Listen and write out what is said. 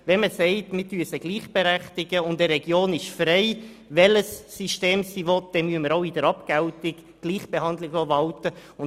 Wenn man sagt, man berechtige beide gleich und eine Region sei in der Wahl des Systems frei, müssen wir auch in der Abgeltung Gleichbehandlung walten lassen.